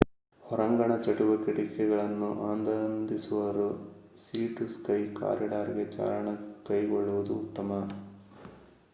ಹೊರಾಂಗಣ ಚಟುವಟಿಕೆಗಳನ್ನು ಆನಂದಿಸುವವರು ಸೀ ಟು ಸ್ಕೈ ಕಾರಿಡಾರ್‌ಗೆ ಚಾರಣ ಕೈಗೊಳ್ಳುವುದು ಉತ್ತಮ